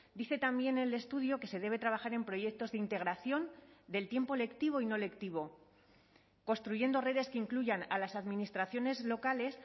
dice también el estudio que se debe trabajar en proyectos de integración del tiempo lectivo y no lectivo construyendo redes que incluyan a las administraciones locales